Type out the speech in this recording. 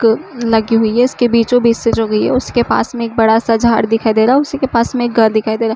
तो लगी हुई है इसके बीचों बीच से जो गई है। उसके पास में एक बड़ा सा झाड दिखाई दे रहा उसी के पास में घर दिखाई दे रहा --